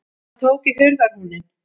Hann tók í hurðarhúninn.